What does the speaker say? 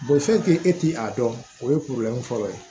e ti a dɔn o ye fɔlɔ ye